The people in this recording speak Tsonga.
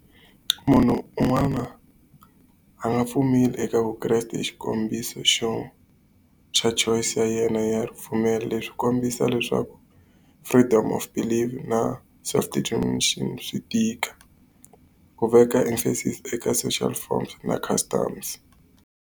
Munhu un'wana a nga pfumeli eka vukreste hi xikombiso xo church choice ya yena ya ripfumelo. Leswi kombisa leswaku freedom of believe na self determination swi tika. Ku veka emphasis eka social forms na customs.